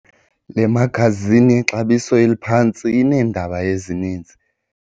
Le magazini yexabiso eliphantsi ineendaba ezininzi.